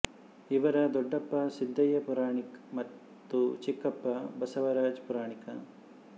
ಇವರ ದೊಡ್ಡಪ್ಪ ಸಿದ್ದಯ್ಯ ಪುರಾಣಿಕ ಮತ್ತು ಚಿಕ್ಕಪ್ಪ ಬಸವರಾಜ ಪುರಾಣಿಕ